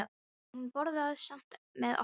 En hún borðaði samt með okkur.